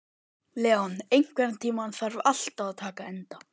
Leon, einhvern tímann þarf allt að taka enda.